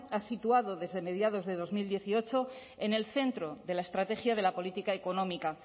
ha situado desde mediados de dos mil dieciocho en el centro de la estrategia de la política económica